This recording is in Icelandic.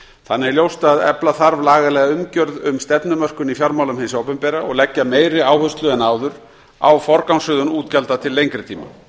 þannig er ljóst að efla þarf lagalega umgjörð um stefnumörkun í fjármálum hins opinbera og leggja meiri áherslu en áður á forgangsröðun útgjalda til lengri tíma